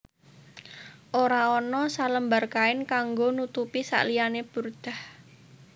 Ora ana selembar kain kanggo nutupi sakliyane burdah